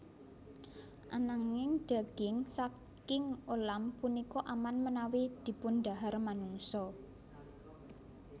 Ananging daging saking ulam punika aman menawi dipundhahar manungsa